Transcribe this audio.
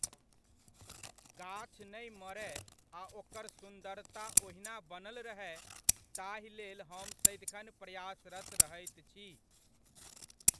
गाछ नहि मरय आ ओकर सुन्दरता ओहिना बनल रहय ताहि लेल हम सदिखन प्रयासरत रहैत छी।